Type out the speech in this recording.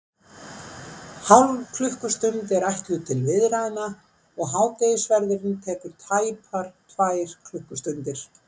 Hálf klukkustund er ætluð til viðræðna, og hádegisverðurinn tekur tæpar tvær klukkustundir.